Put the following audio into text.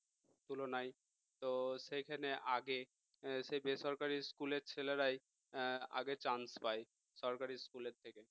তুলনায় তো সেখানে আগে সে বেসরকারি school এর ছেলেরাই আগে chance পায় সরকারি school এর থেকে